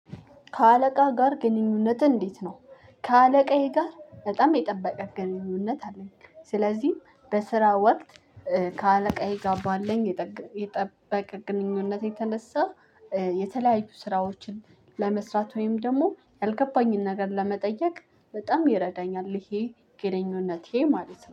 ከአለቃህ ጋር ግንኙነትህ እንዴት ነው? ከአለቃዬ ጋር በጣም የጠበቀ ግንኙነት አለኝ። ስለዚህ በስራ ወቅት ከአለቃዬ ጋ ባለኝ የጠበቀ ግንኙነት የተነሳ። የተለያዩ ስራዎችን ለመስራት ወይም ደግሞ ያልገባኝን ነገር ለመጠየቅ በጣም ይረዳኛል ይሄ ግንኙነቴ ማለት ነው